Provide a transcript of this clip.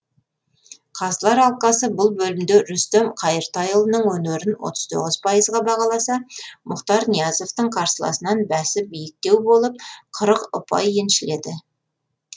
қазылар алқасы бұл бөлімде рүстем қайыртайұлының өнерін отыз тоғыз ұпайға бағаласа мұхтар ниязовтың қарсыласынан бәсі биіктеу болып қырық ұпай еншіледі